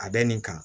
A bɛ nin kan